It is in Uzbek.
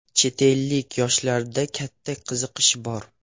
Chet ellik yoshlarda katta qiziqish bor.